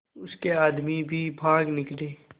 उसके आदमी भी भाग निकले